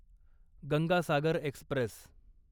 Ganga Sagar Express